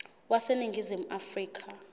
wase ningizimu afrika